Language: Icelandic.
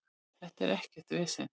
Þetta er ekkert vesen.